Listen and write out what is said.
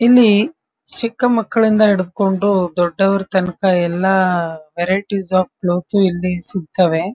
ಇಲ್ಲಿ ಚಿಕ್ಕ ಮಕ್ಕಳಿಂದ ಹಿಡ್ಕೊಂಡು ದೊಡ್ಡವರ ತನಕ ಎಲ್ಲ ವರಿಎಟಿಸ್ ಆಫ್ ಬ್ಲೌಸ್ ಇಲ್ಲಿ ಸಿಗ್ತವೆ.